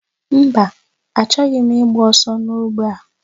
Mba, achọghị m ịgba ọsọ n'ogbe a.